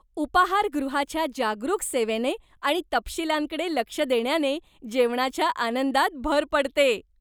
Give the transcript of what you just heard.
उपाहारगृहाच्या जागरूक सेवेने आणि तपशीलांकडे लक्ष देण्याने जेवणाच्या आनंदात भर पडते.